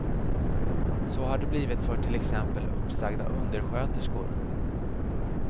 Så har det blivit för till exempel uppsagda undersköterskor.